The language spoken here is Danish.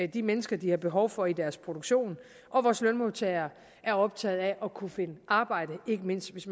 de mennesker de har behov for i deres produktion og vores lønmodtagere er optaget af at kunne finde arbejde ikke mindst hvis